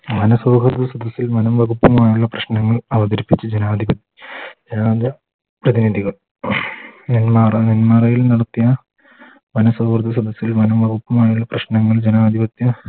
വന സൗഹൃദ സദസ്സിൽ വനം വകുപ്പുമായുള്ള പ്രശ്നങ്ങൾ അവതരിപ്പിച്ച് ജനാധി ജനാധി പ്രതിനിധികൾ നേന്മറ നേന്മറയിൽ നടത്തിയ വന സദസ്സിൽ വനം വകുപ്പുമായുള്ള പ്രശ്നങ്ങൾ ജനാതിപത്യ